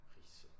Riise